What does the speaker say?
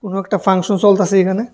কোনো একটা ফাংশন চলতাসে এখানে।